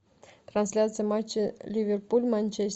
трансляция матча ливерпуль манчестер